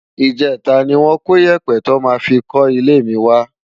Ijètá ni wòn kó iyèpè tò má fi kò ilé mi wá